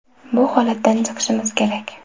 Bu holatdan chiqishimiz kerak.